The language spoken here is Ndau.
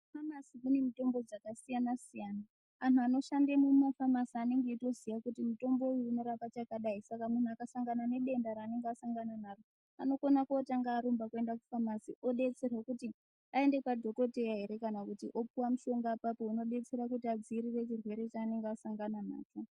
Mufamasi kune mitombo dzakasiyana siyana andu anoshande mumafamasi anenge eyitoziya kuti mutombo uyu unorape chakadai saka mundu akasangana nedenda raanenge asangana naro anokona kutanga arumba oyenda kufamasi odetserwa kuti ayende kwadhokoteya here kana kuti opiwe mushonga ipapo unobetsera kuti adzivirire chirwere chaanenge asangana nacho.